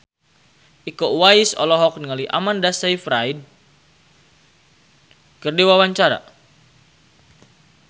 Iko Uwais olohok ningali Amanda Sayfried keur diwawancara